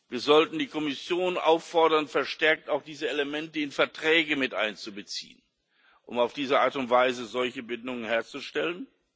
Wir sollten die Kommission auffordern, verstärkt auch diese Elemente in Verträge miteinzubeziehen, um auf diese Art und Weise solche Bindungen herzustellen.